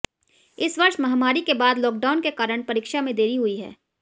इस वर्ष महामारी के बाद लॉकडाउन के कारण परीक्षा में देरी हुई है